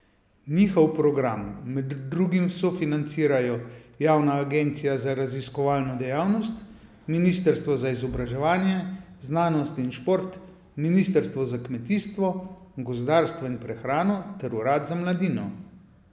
Njihov program med drugim sofinancirajo javna agencija za raziskovalno dejavnost, ministrstvo za izobraževanje, znanost in šport, ministrstvo za kmetijstvo, gozdarstvo in prehrano ter urad za mladino.